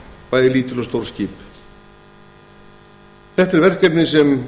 bæði lítil og stór skip þetta er verkefni sem